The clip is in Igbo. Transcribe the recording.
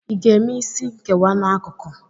Ị ga-eme isi nkewa n'akụkụ?